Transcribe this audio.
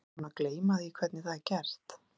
Einsog ég sé búin að gleyma því hvernig það er gert.